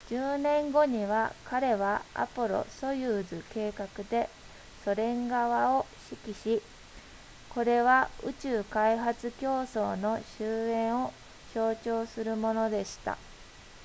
10年後に彼はアポロソユーズ計画でソ連側を指揮しこれは宇宙開発競争の終焉を象徴するものでした